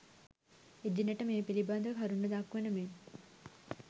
එදිනට මේ පිළිබඳව කරුණු දක්වන මෙන්